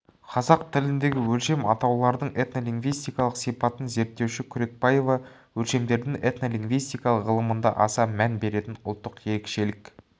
қазақ тіліндегі өлшем атаулардың этнолингвистикалық сипатын зерттеуші күркебаева өлшемдердің этнолингвистика ғылымында аса мән беретін ұлттық ерекшелік